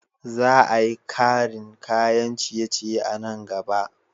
Za a yi karin kayan ciye-ciye a nan gaba.